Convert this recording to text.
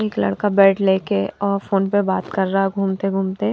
एक लड़का बेड लेके और फोन पर बात कर रहा घूमते घूमते--